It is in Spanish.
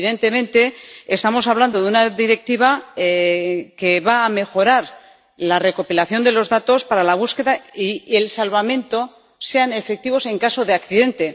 Evidentemente, estamos hablando de una directiva que va a mejorar la recopilación de los datos para que la búsqueda y el salvamento sean efectivos en caso de accidente.